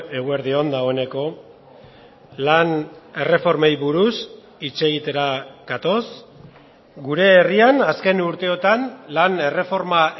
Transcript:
eguerdi on dagoeneko lan erreformei buruz hitz egitera gatoz gure herrian azken urteotan lan erreforma